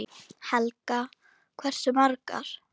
Helga: Hversu margar?